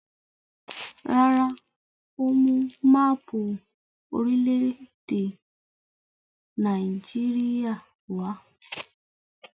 Rárá, ó mú máápù orílẹ̀-èdè Nàìjíríà wá.